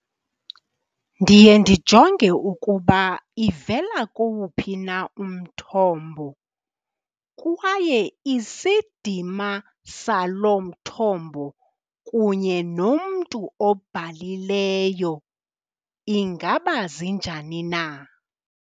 Ndiye ndijonge ukuba ivela kuwuphi na umthombo kwaye isidima saloo mthombo kunye nomntu obhalileyo ingaba zinjani na.